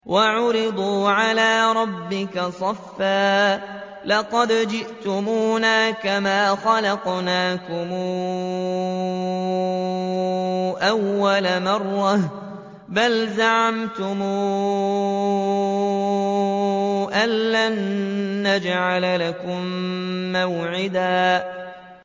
وَعُرِضُوا عَلَىٰ رَبِّكَ صَفًّا لَّقَدْ جِئْتُمُونَا كَمَا خَلَقْنَاكُمْ أَوَّلَ مَرَّةٍ ۚ بَلْ زَعَمْتُمْ أَلَّن نَّجْعَلَ لَكُم مَّوْعِدًا